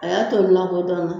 A y'a to n lakodɔnna